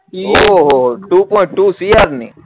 ઓ હો હો હો ટુ પોઈન્ટ ટુ સીઆર ની